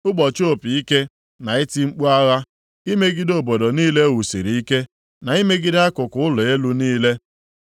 ụbọchị opi ike na iti mkpu agha imegide obodo niile e wusiri ike, na imegide akụkụ ụlọ elu niile.